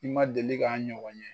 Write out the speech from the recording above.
I ma deli k'a ɲɔgɔn ye